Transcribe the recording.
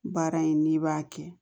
Baara in n'i b'a kɛ